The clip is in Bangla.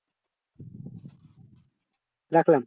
রাখলাম।